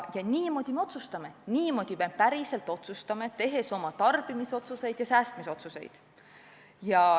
Ja niimoodi me otsustame – niimoodi me päriselt otsustame, tehes oma tarbimisotsuseid ja säästmisotsuseid.